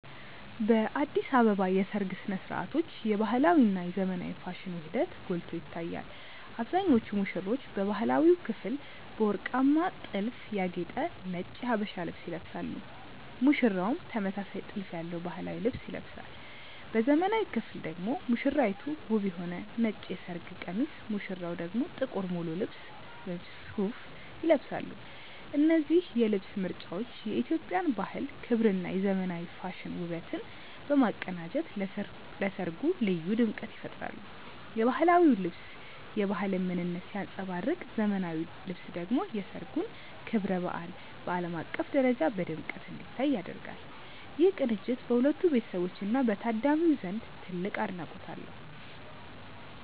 በአዲስ አበባ የሰርግ ሥነ ሥርዓቶች የባህላዊ እና የዘመናዊ ፋሽን ውህደት ጎልቶ ይታያል። አብዛኞቹ ሙሽሮች በባህላዊው ክፍል በወርቃማ ጥልፍ ያጌጠ ነጭ የሀበሻ ልብስ ይለብሳሉ ሙሽራውም ተመሳሳይ ጥልፍ ያለው ባህላዊ ልብስ ይለብሳል። በዘመናዊው ክፍል ደግሞ ሙሽራይቱ ውብ የሆነ ነጭ የሰርግ ቀሚስ ሙሽራው ደግሞ ጥቁር ሙሉ ልብስ (ሱት) ይለብሳሉ። እነዚህ የልብስ ምርጫዎች የኢትዮጵያን ባህል ክብርና የዘመናዊ ፋሽን ውበትን በማቀናጀት ለሠርጉ ልዩ ድምቀት ይፈጥራሉ። የባህላዊው ልብስ የባህልን ምንነት ሲያንጸባርቅ ዘመናዊው ልብስ ደግሞ የሠርጉን ክብረ በዓል በዓለም አቀፍ ደረጃ በድምቀት እንዲታይ ያደርጋል። ይህ ቅንጅት በሁለቱ ቤተሰቦችና በታዳሚው ዘንድ ትልቅ አድናቆት አለው።